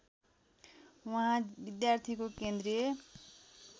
उहाँ विद्यार्थीको केन्द्रीय